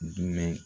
Dumunun